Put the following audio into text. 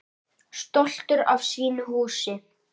Stoltur af sínu húsi.